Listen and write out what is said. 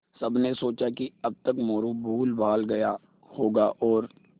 सबने सोचा कि अब तक मोरू भूलभाल गया होगा और